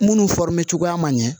Munnu cogoya man ɲɛ